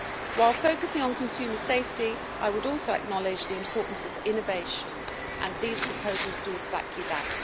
While focusing on consumer safety, I would also acknowledge the importance of innovation, and these proposals do exactly that.